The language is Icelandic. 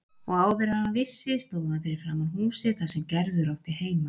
Og áður en hann vissi stóð hann fyrir framan húsið þar sem Gerður átti heima.